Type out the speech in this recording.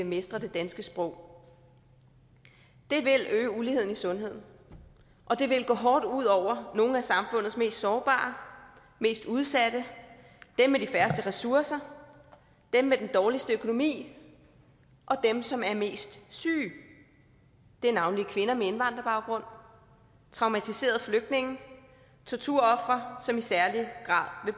mestrer det danske sprog vil øge uligheden i sundheden og det vil gå hårdt ud over nogle af samfundets mest sårbare mest udsatte dem med de færreste ressourcer dem med den dårligste økonomi og dem som er mest syge det er navnlig kvinder med indvandrerbaggrund traumatiserede flygtninge og torturofre som i særlig grad vil